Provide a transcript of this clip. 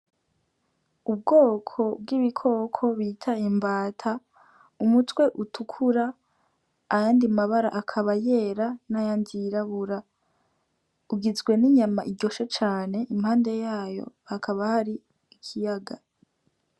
Ubwoko bw'ibikoko bita imbata umutwe utukura ayandi mabara akaba yera n' ayandi yirabura bugizwe n' inyama iryoshe cane impande yayo hakaba hari ikiyaga.